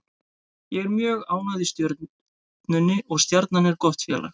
Ég er mjög ánægð í Stjörnunni og Stjarnan er gott félag.